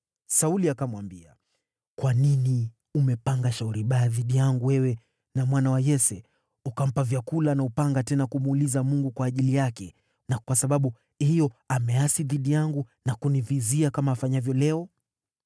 Sauli akamwambia, “Kwa nini umepanga shauri baya dhidi yangu, wewe na mwana wa Yese, ukampa vyakula na upanga, tena hukumuuliza Mungu kwa ajili yake, na kwa sababu hiyo ameasi dhidi yangu na kunivizia, kama afanyavyo leo?”